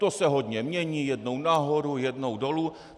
To se hodně mění, jednou nahoru, jednou dolů.